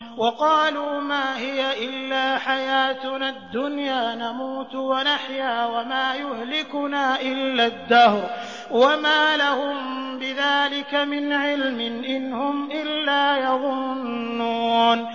وَقَالُوا مَا هِيَ إِلَّا حَيَاتُنَا الدُّنْيَا نَمُوتُ وَنَحْيَا وَمَا يُهْلِكُنَا إِلَّا الدَّهْرُ ۚ وَمَا لَهُم بِذَٰلِكَ مِنْ عِلْمٍ ۖ إِنْ هُمْ إِلَّا يَظُنُّونَ